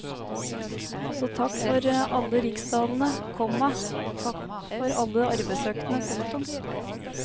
Så takk for alle riksdalerne, komma takk for alle arbeidsøktene. punktum